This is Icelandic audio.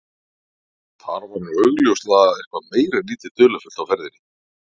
Þar var nú augljóslega eitthvað meira en lítið dularfullt á ferðinni.